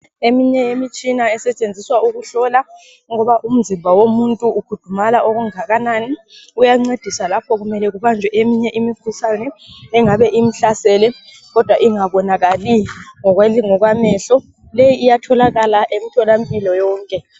Eminye imitshina esetshenziswa ukuhlola ukuba umzimba womuntu ukhudumala okungakanani. Uyancedisa lapho kumele kubanjwe eminye imikhuhlane engabe imhlasele kodwa ingabonakali ngokwamehlo. Leyi iyatholakala emtholampilo yonke.